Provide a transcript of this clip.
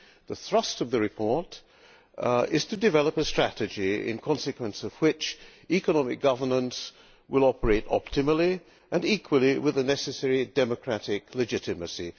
The thrust of the report is to develop a strategy in consequence of which economic governance will operate optimally and equally with the necessary democratic legitimacy.